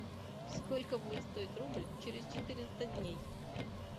сколько будет стоить рубль через четыреста дней